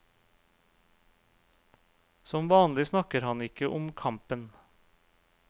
Som vanlig snakker han ikke om kampen.